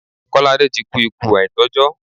Kọ́ládé ti kú ikú àìtọ́jọ́.